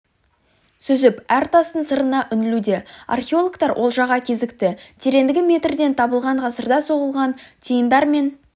сүзіп әр тастың сырына үңілуде археологтар олжаға кезікті тереңдігі метрден табылған ғасырда соғылған тиындар мен